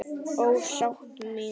Ó ástin mín.